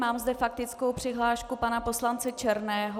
Mám zde faktickou přihlášku pana poslance Černého.